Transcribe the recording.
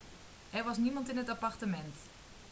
er was niemand in het appartement